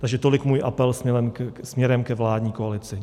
Takže tolik můj apel směrem k vládní koalici.